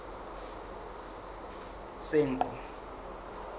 senqu